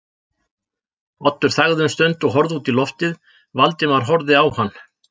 Oddur þagði um stund og horfði út í lofið, Valdimar horfði á hann.